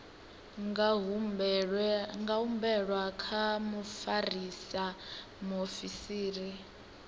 nga humbelwa kha mufarisa muofisiri